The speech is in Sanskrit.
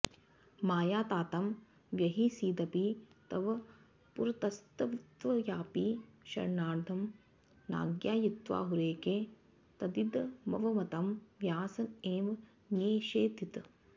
मायातातं व्यहिंसीदपि तव पुरतस्तत्त्वयापि क्षणार्धं नाज्ञायीत्याहुरेके तदिदमवमतं व्यास एव न्यषेधीत्